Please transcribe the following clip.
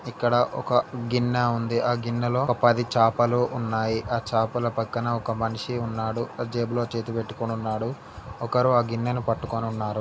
ఇక్కడ ఒక గిన్నెఉంది ఆ గిన్నెలో పది చేపలు ఉన్నాయి ఆ చేపల పక్కన ఒక్క మనిషి ఉన్నాడు జేబులో చేతిని పెట్టుకోనున్నాడు ఒక్కరు ఆ గిన్నెని పట్టుకోనున్నారు.